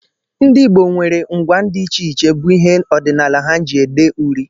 Ndị Igbo nwere ngwa dị iche iche bụ ihe ọdịnala ha ji ede uri